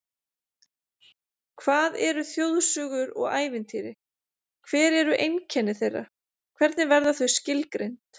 Hvað eru þjóðsögur og ævintýri, hver eru einkenni þeirra, hvernig verða þau skilgreind?